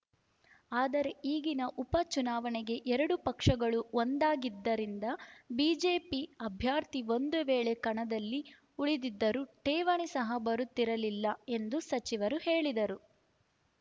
ಆದರೆ ಈಗಿನ ಉಪ ಚುನಾವಣೆಗೆ ಎರಡೂ ಪಕ್ಷಗಳು ಒಂದಾಗಿದ್ದರಿಂದ ಬಿಜೆಪಿ ಅಭ್ಯರ್ಥಿ ಒಂದು ವೇಳೆ ಕಣದಲ್ಲಿ ಉಳಿದಿದ್ದರೂ ಠೇವಣಿ ಸಹ ಬರುತ್ತಿರಲಿಲ್ಲ ಎಂದು ಸಚಿವರು ಹೇಳಿದರು